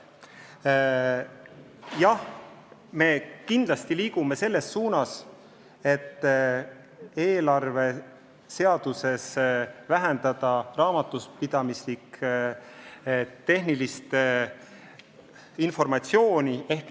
Jah, me kindlasti liigume selles suunas, et eelarveseaduses raamatupidamislik-tehnilist informatsiooni vähendada.